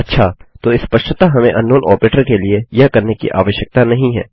अच्छा तो स्पष्टतः हमें अंकनाउन आपरेटर ऑपरेटर के लिए यह करने की आवश्यकता नहीं है